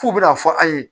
F'u bɛna fɔ an ye